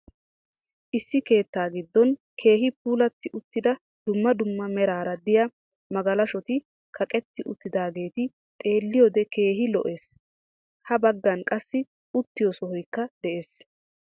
Issi keettaa giddon keehi puulatti uttida dumma dumma meraara diya magalashoti kaqetti uttidaageeti xeelliyode keehi lo'ees. Ha baggan qassi uttiyo sohoykka de'ees.